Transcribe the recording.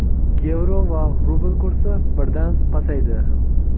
yevro va rubl kursi birdan pasaydi.